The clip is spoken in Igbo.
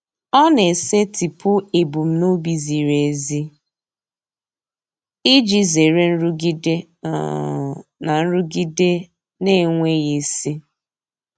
Ọ na-esetịpụ ebumnobi ziri ezi iji zere nrụgide um na nrụgide na-enweghị isi.